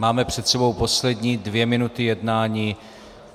Máme před sebou poslední dvě minuty jednání.